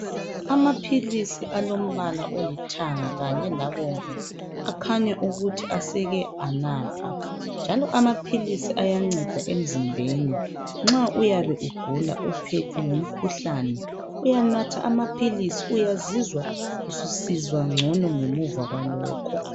Amaphilisi alombala olithanga kanye labomvu akhanya ukuthi aseke anathwa njalo amaphilisi ayanceda emzimbeni nxa uyabe ugula uphethwe ngumkhuhlane uyanatha amaphilisi uyazizwa susizwa ngcono ngemuva kwalokho